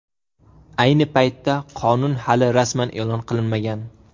Ayni paytda qonun hali rasman e’lon qilinmagan.